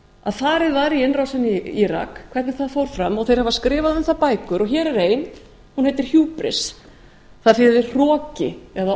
að farið var í innrásina í írak hvernig það fór fram þeir hafa skrifað um það bækur og hér er ein sem heitir